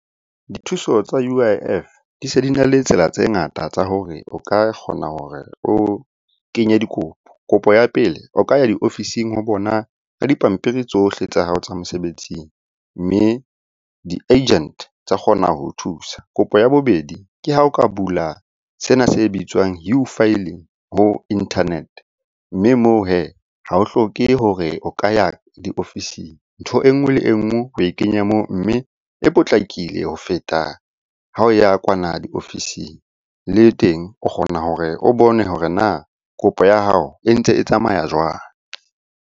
Dithuso tsa U_I_F di se di na le tsela tse ngata tsa hore o ka kgona hore o kenye dikopo. Kopo ya pele, o ka ya diofising ho bona ka dipampiri tsohle tsa hao tsa mosebetsing. Mme di-agent tsa kgona ho thusa. Kopo ya bobedi, ke ha o ka bula sena se bitswang u-filing ho internet-e, mme moo hee ha o hloke hore o ka ya diofising. Ntho enngwe le enngwe oe kenya moo, mme e potlakile ho feta ha o ya kwana diofising. Le teng o kgona hore o bone hore na kopo ya hao e ntse e tsamaya jwang?